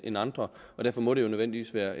end andre og derfor må det jo nødvendigvis være